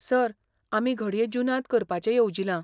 Sir, आमी घडये जुनांत करपाचें येवजिलां.